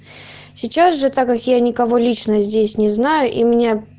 сейчас же так я никого лично здесь не знаю и мне